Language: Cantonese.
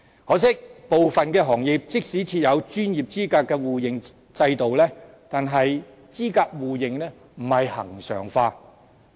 可惜的是，部分行業即使設有專業資格的互認制度，但是資格互認並非恆常化。